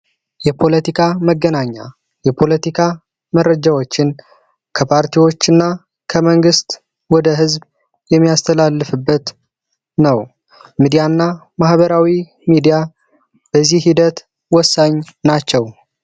የፖለቲካ መገናኛ የፖለቲካ መረጃዎችን ከፓርቲዎች እና ከመንግሥት ወደ ሕዝብ የሚያስተላልፍበት ነው። ሚዲያ እና ማህበራዊ ሚዲያ በዚህ ሂደት ወሳኝ ናቸው።